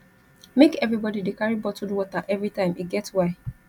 make everybodi dey carry bottled water everytime e get why